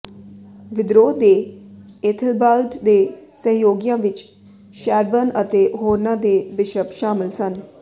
ਵਿਦਰੋਹ ਦੇ ਏਥੇਲਬਾਲਡ ਦੇ ਸਹਿਯੋਗੀਆਂ ਵਿਚ ਸ਼ੈਰਬਰਨ ਅਤੇ ਹੋਰਨਾਂ ਦੇ ਬਿਸ਼ਪ ਸ਼ਾਮਲ ਸਨ